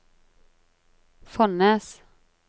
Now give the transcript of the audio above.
Fonnes